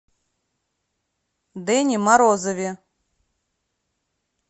дэне морозове